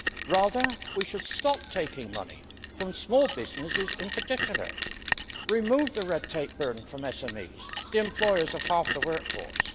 Rather, we should stop taking money from small businesses in particular, and remove the red tape burden from SMEs, which are the employers of half the workforce.